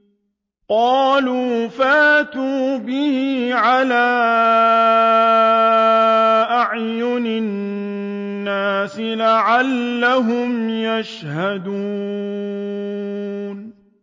قَالُوا فَأْتُوا بِهِ عَلَىٰ أَعْيُنِ النَّاسِ لَعَلَّهُمْ يَشْهَدُونَ